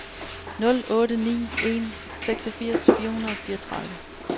nul otte ni en seksogfirs fire hundrede og fireogtredive